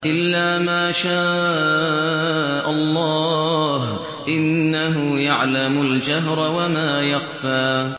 إِلَّا مَا شَاءَ اللَّهُ ۚ إِنَّهُ يَعْلَمُ الْجَهْرَ وَمَا يَخْفَىٰ